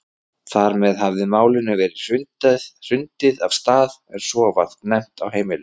Þar með hafði Málinu verið hrundið af stað en svo var það nefnt á heimilinu.